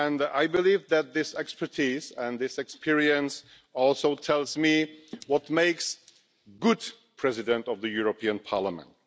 I believe that this expertise and this experience also tell me what makes a good President of the European Parliament.